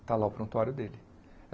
Está lá o prontuário dele.